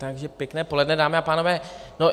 Takže pěkné poledne, dámy a pánové.